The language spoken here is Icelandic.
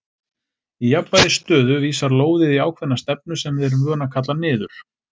Í jafnvægisstöðu vísar lóðið í ákveðna stefnu sem við erum vön að kalla niður.